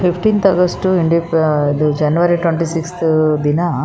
fifteenth August ಇಂಡಿಪಿ January twenty six ದಿನ --